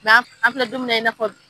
N' an filɛ domina in na fɔ bi.